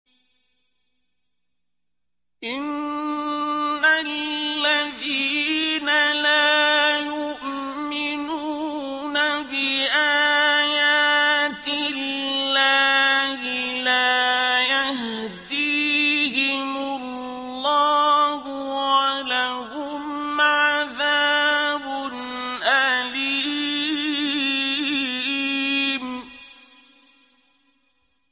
إِنَّ الَّذِينَ لَا يُؤْمِنُونَ بِآيَاتِ اللَّهِ لَا يَهْدِيهِمُ اللَّهُ وَلَهُمْ عَذَابٌ أَلِيمٌ